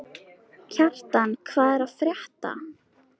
Kjartan, hvað er að frétta?